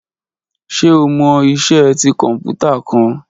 Ṣe o mọ iṣẹ ti kọnputa kan?